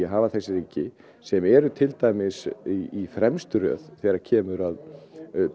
að hafa þessi ríki sem eru til dæmis í fremstu röð þegar kemur að